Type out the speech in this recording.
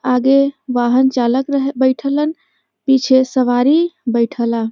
आगे वाहन चालक रह बइठलन पीछे सवारी बइठला।